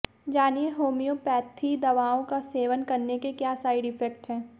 जानिए होम्यौपैथी दवाओं का सेवन करने के क्या साइड इफेक्ट है